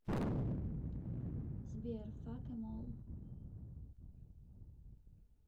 сбер фак эм ол